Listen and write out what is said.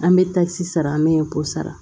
An bɛ takisi sara an bɛ sara